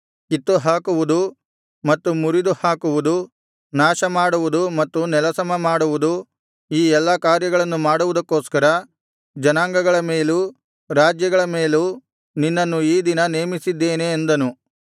ಕಿತ್ತುಹಾಕುವುದು ಮತ್ತು ಮುರಿದುಹಾಕುವುದು ನಾಶಮಾಡುವುದು ಮತ್ತು ನೆಲಸಮಮಾಡುವುದು ಈ ಎಲ್ಲಾ ಕಾರ್ಯಗಳನ್ನು ಮಾಡುವುದಕ್ಕೋಸ್ಕರ ಜನಾಂಗಗಳ ಮೇಲೂ ರಾಜ್ಯಗಳ ಮೇಲೂ ನಿನ್ನನ್ನು ಈ ದಿನ ನೇಮಿಸಿದ್ದೇನೆ ಅಂದನು